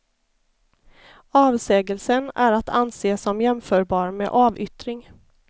Avsägelsen är att anse som jämförbar med avyttring.